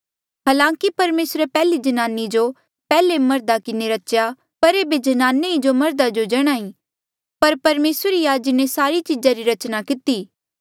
हालांकि परमेसरे पैहलीजन्नानी जो पैहलेमर्धा किन्हें रच्या पर ऐबे ज्नाने ई जो मर्धा जो जणा ई पर परमेसर ही आ जिन्हें सारी चीजा री रचना किती